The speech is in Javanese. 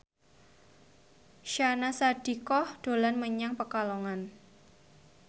Syahnaz Sadiqah dolan menyang Pekalongan